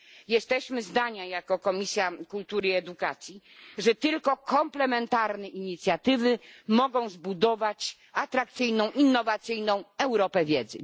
Jesteśmy zdania, jako Komisja Kultury i Edukacji, że tylko komplementarne inicjatywy mogą zbudować atrakcyjną innowacyjną Europę wiedzy.